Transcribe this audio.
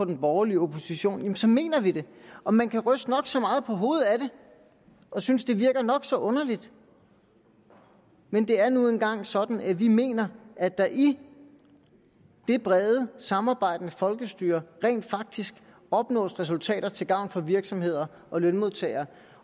den borgerlige opposition jamen så mener vi det og man kan ryste nok så meget på hovedet ad det og synes det virker nok så underligt men det er nu engang sådan at vi mener at der i det brede samarbejdende folkestyre rent faktisk opnås resultater til gavn for virksomheder og lønmodtagere